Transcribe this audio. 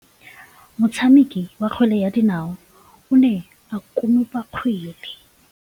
Motshameki wa kgwele ya dinaô o ne a konopa kgwele.